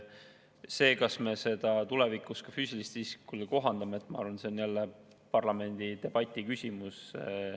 See, kas me seda tulevikus ka füüsilisele isikule kohandame – ma arvan, et see on jälle parlamendidebati küsimus.